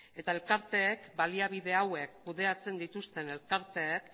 eta elkarteek baliabide hauek kudeatzen dituzten elkarteek